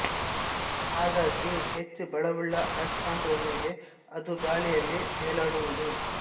ಹಾಗಾಗಿ ಹೆಚ್ಚು ಬಲವುಳ್ಳ ಆಯಸ್ಕಾಂತದ ಮೇಲೆ ಅದು ಗಾಳಿಯಲ್ಲಿ ತೇಲಾಡುವುದು